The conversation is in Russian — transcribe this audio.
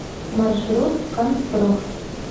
маршрут канцпроф